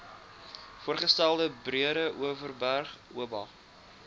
voorgestelde breedeoverberg oba